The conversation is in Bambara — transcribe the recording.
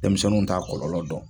Denmisɛnnu t’a kɔlɔlɔ dɔn.